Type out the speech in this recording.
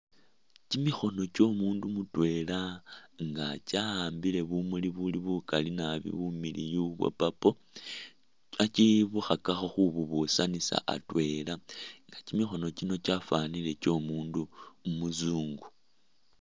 Kimikhoono kyomundu mutwela nga kyawambile bumuli bukali naabi bumiliyu bwa purple khakibukhako khububusanisa atwela nga kimikhoono kino kyafanile kyomundu umuzungu